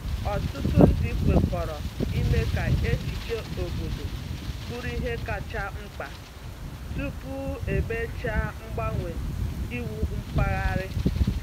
Ọtụtụ ndị kwekọrọ ime ka echiche obodo bụrụ ihe kacha mkpa tupu emechaa mgbanwe iwu mpaghara.